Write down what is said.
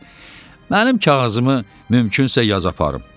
Mirzə, mənim kağızımı mümkünsə yaz aparım.